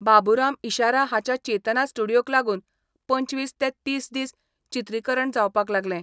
बाबुराम इशारा हाच्या चेतना स्टुडियोक लागून पंचवीस ते तीस दीस चित्रीकरण जावपाक लागलें.